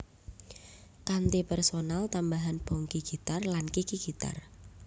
Kanthi personel tambahan Bongky gitar lan Kiki gitar